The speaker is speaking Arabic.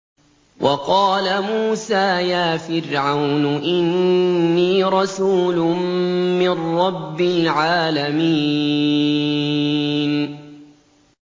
وَقَالَ مُوسَىٰ يَا فِرْعَوْنُ إِنِّي رَسُولٌ مِّن رَّبِّ الْعَالَمِينَ